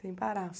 Sem parar.